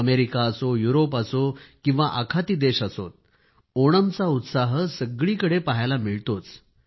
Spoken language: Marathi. अमेरिका असो यूरोप असो किंवा आखाती देश असो ओणमचा उत्साह सगळीकडे पहायला मिळतोच